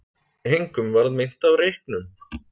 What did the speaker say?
Engum varð meint af reyknum